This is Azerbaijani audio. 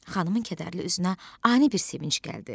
Xanımın kədərli üzünə ani bir sevinc gəldi.